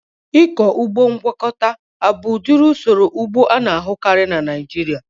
Ịkọ ụgbọ ngwakọta abụ udiri usoro ụgbọ ana-ahukari na Naijiria?